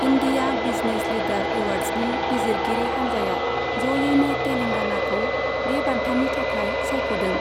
India business leader एवार्ड्सनि बिजिरगिरि हान्जाआ ज'यैनो तेलेंगानाखौ बे बान्थानि थाखाय सायख'दों।